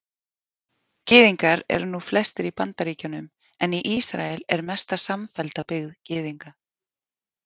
Gyðingar eru nú flestir í Bandaríkjunum en í Ísrael er mesta samfellda byggð Gyðinga.